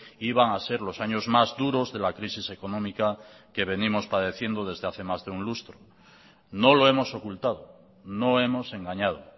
iban a ser los años más duros de la crisis económica que venimos padeciendo desde hace más de un lustro no lo hemos ocultado no hemos engañado